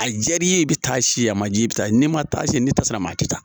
A jar'i ye i bɛ taa si a man j'i ye i bɛ taa n'i man taa si n'i ta se la maa tɛ taa.